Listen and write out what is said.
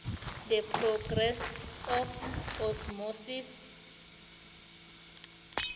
the process of osmosis